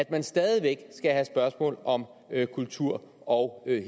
man stadig væk skal have spørgsmål om kultur og